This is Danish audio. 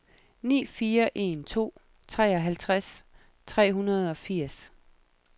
ni fire en to treoghalvtreds tre hundrede og firs